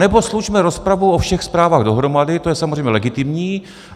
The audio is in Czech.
Anebo slučme rozpravu o všech zprávách dohromady, to je samozřejmě legitimní.